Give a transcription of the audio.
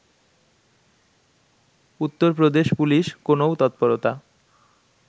Uttar Pradesh police কোনও তৎপরতা